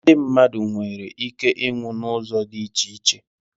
Ndị mmadụ nwere ike iịnwụ n'ụzọ dị iche iche